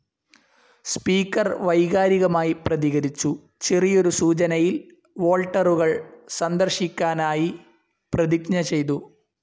Speaker വൈകാരികമായി പ്രതികരിച്ചു, ചെറിയൊരു സൂചനയിൽ വോൾട്ടറുകൾ സന്ദർശിക്കാനായി പ്രതിജ്ഞ ചെയ്തു.